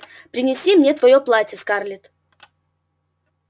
принеси мне твоё платье скарлетт